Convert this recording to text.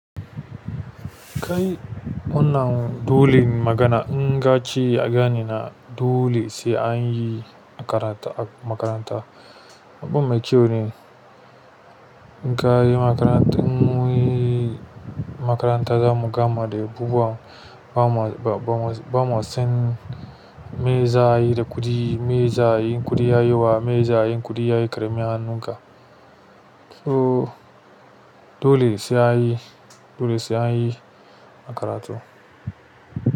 Kai wannan duwulin magana inga ci a gani na dole sai an yi makaranta makaranta. Abun mai kyau ne. Kayi makarantar in mun yi makaranta zamu gama da bubuwa ba mu, ba mu, ba mu san me za a yi da kuɗi, me za a yi kuɗi ya yi wa, me za a yi kuɗi ya yi ƙaramin hannunka. To dole sai an yi, dole sai an yi makaratu.